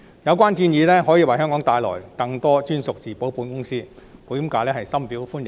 有關建議可以為香港帶來更多專屬自保保險業務，保險界對此深表歡迎。